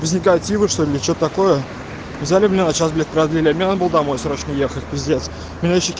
пиво что-ли что такое взяли меня сейчас для корабля на бал домой срочно ехать п